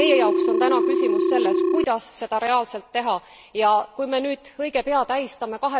Meie jaoks on täna küsimus selles, kuidas seda reaalselt teha, ja kui me nüüd õige pea tähistame